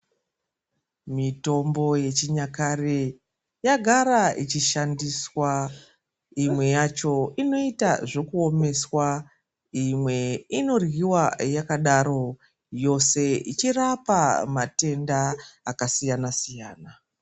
Mitombo yechinyakare yagara ichishandiswa imwe yacho inoita zvekuomeswa. Imwe inoryiva yakadaro yose ichirapa matenda akasiyana-siyana.